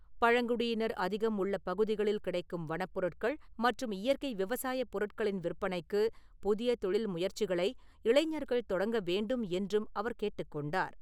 பழங்குடியினர் அதிகம் உள்ள பகுதிகளில் கிடைக்கும் வனப்பொருட்கள் மற்றும் இயற்கை விவசாய பொருட்களின் விற்பனைக்கு புதிய தொழில் முயற்சிகளை இளைஞர்கள் தொடங்க வேண்டும் என்றும் அவர் கேட்டுக் கொண்டார்.